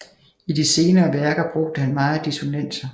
I de senere værker brugte han meget dissonanser